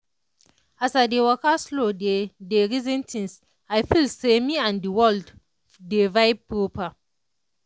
as i dey waka slow dey dey reason tins i feel say me and the world dey vibe proper.